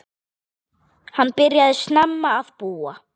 Hann byrjaði snemma að búa.